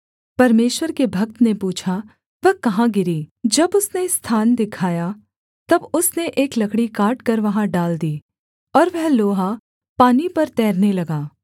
परमेश्वर के भक्त ने पूछा वह कहाँ गिरी जब उसने स्थान दिखाया तब उसने एक लकड़ी काटकर वहाँ डाल दी और वह लोहा पानी पर तैरने लगा